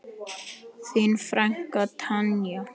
Þín frænka Tanja.